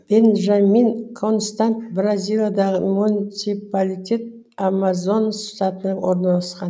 бенжамин констант бразилиядағы муниципалитет амазонас штатында орналасқан